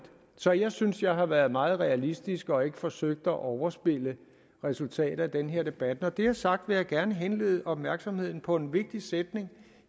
så jeg synes at jeg har været meget realistisk og ikke forsøgt at overspille resultatet af den her debat når det er sagt vil jeg gerne henlede opmærksomheden på en vigtig sætning